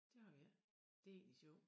Det har vi ikke det egentlig sjovt